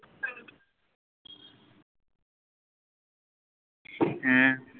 হ্য়াঁ